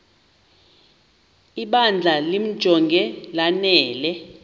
ibandla limjonge lanele